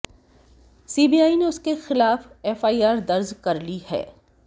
CBI ने उसके खिलाफ एफआईआर दर्ज कर ली है